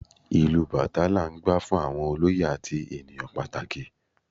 Ìlù Batá la n gbá fún àwọn olóyè àti ènìyàn pàtàkì